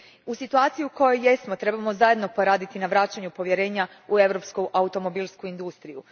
U situaciji u kojoj jesmo trebamo zajedno poraditi na vraćanju povjerenja u europsku automobilsku industriju.